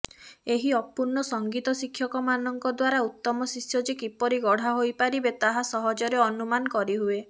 ଏହି ଅପୂର୍ଣ୍ଣ ସଙ୍ଗୀତ ଶିକ୍ଷକମାନଙ୍କ ଦ୍ୱାରା ଉତ୍ତମଶିଷ୍ୟ ଯେ କିପରି ଗଢ଼ା ହୋଇପାରିବେ ତାହା ସହଜରେ ଅନୁମାନ କରିହୁଏ